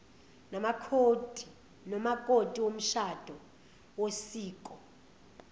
nomakoti womshado wosiko